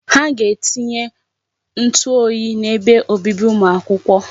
Ha ga-etinye ntụ oyi n'ebe obibi ụmụ akwụkwọ.